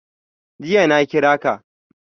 Jiya na kira ka.